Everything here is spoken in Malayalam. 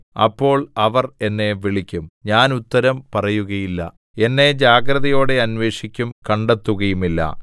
അപ്പോൾ അവർ എന്നെ വിളിക്കും ഞാൻ ഉത്തരം പറയുകയില്ല എന്നെ ജാഗ്രതയോടെ അന്വേഷിക്കും കണ്ടെത്തുകയുമില്ല